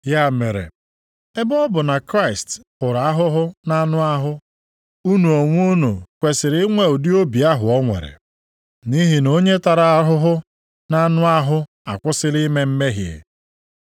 Ya mere, ebe ọ bụ na Kraịst hụrụ ahụhụ nʼanụ ahụ, unu onwe unu kwesiri inwe ụdị obi ahụ o nwere. Nʼihi na onye tara ahụhụ nʼanụ ahụ akwụsịla ime mmehie.